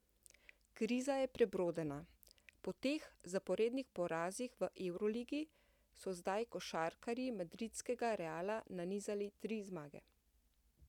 Kriza je prebrodena, po teh zaporednih porazih v evroligi so zdaj košarkarji madridskega Reala nanizali tri zmage.